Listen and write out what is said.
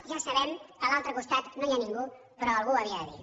ja sabem que a l’altre costat no hi ha ningú però algú ho havia de dir